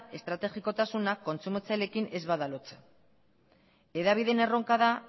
estrategikotasuna kontsumitzaileekin ez bada lotzen hedabideen erronka da